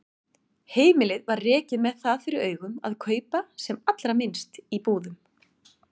Heimilið var rekið með það fyrir augum að kaupa sem allra minnst í búðum.